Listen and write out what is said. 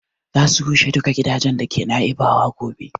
Za a rushe duka gidajen da ke Naibawa gobe